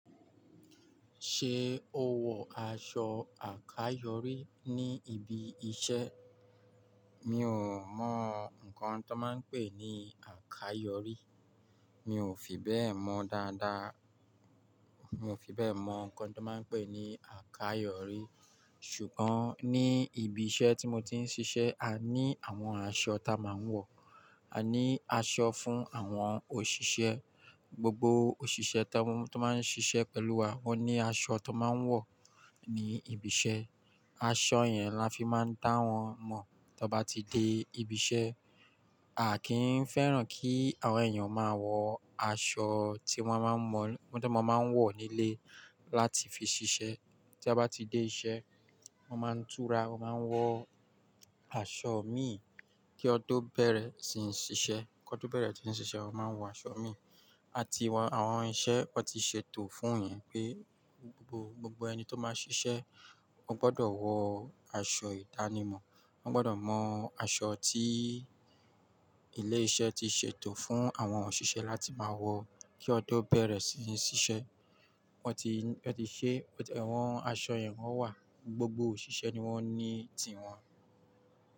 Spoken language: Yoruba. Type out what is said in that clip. Ṣé o wọ aṣọ àkáyòrí ní ibi iṣẹ́? Mi ò mọ nnkan tó máa ń pè ní àkáyòrí. Mi ò fi bẹ́ẹ̀ mọ dáadáa. Mi ò fi bẹ́ẹ̀ mọ nnkan tó máa ń pè ní àkáyòrí. Ṣùgbọ́n ní ibi iṣẹ́ tí mo ti ń ṣiṣẹ́, a ní àwọn aṣọ ta a máa ń wọ. A ní aṣọ fún àwọn òṣìṣẹ́. Gbogbo òṣìṣẹ́ tó máa ń ṣiṣẹ́ pẹ̀lú wa wón ní aṣọ tó máa ń wọ̀ ní ibi iṣẹ́. Aṣọ yẹn la fi máa ń dá wọn mọ̀ tí ó bá ti dé ibi iṣẹ́. A kì í fẹ́ràn kí àwọn èèyàn máa wọ aṣọ tí wọ́n tó máa ń wọ̀ nílé láti fi ṣiṣẹ́. Tí a bá ti dé iṣẹ́, wọ́n máa ń tura, wọ́n máa ń wọ aṣọ miì kí ọ tó bẹ̀rẹ̀ sí i ṣíṣe. Kan tó bẹ̀rẹ̀ tí ń ṣiṣẹ́, wọ́n máa ń wọ aṣọ miì. A ti wọ̀n àwọn iṣẹ́ wọ́n ti ṣètò fún ìyẹn pé gbogbo ẹni tó máa ṣiṣẹ́ ó gbọ́dọ̀ wọ aṣọ ìdánimọ̀. Wọ́n gbọ́dọ̀ mọ aṣọ tí ilé iṣẹ́ ti ṣètò fún àwọn òṣìṣẹ́ láti máa wọ kí ọdún bẹ̀rẹ̀ sí i ṣíṣe. Wọ́n ti, wọ́n ti ṣe, àwọn aṣọ yẹn wọ́n wà. Gbogbo òṣìṣẹ́ ni wọ́n ní ti wọn.